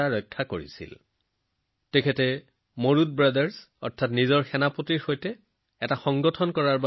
তেওঁ কেইবাবছৰ ধৰি নিজৰ সেনাপতি মুৰুডু ব্ৰাদাৰ্ছৰ সৈতে সংগঠিত আৰু সেনাবাহিনী গঠন কৰিছিল